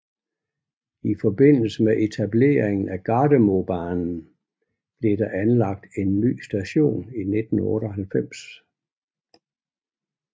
I forbindelse med etableringen af Gardermobanen blev der anlagt en ny station i 1998